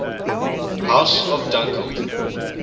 house of dunkeld